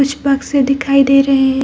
कुछ बक्से दिखाई दे रहें।